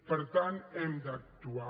per tant hem d’actuar